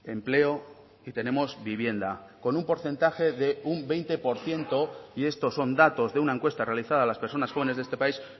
empleo y tenemos vivienda con un porcentaje de un veinte por ciento y estos son datos de una encuesta realizada a las personas jóvenes de este país